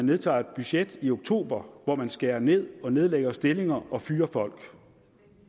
vedtager et budget i oktober hvor man skærer ned og nedlægger stillinger og fyrer folk